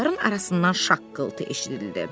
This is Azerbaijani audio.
kolların arasından şaqqıltı eşidildi.